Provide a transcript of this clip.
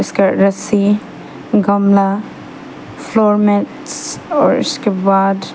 रस्सी गमला floor mats और इसके बाद--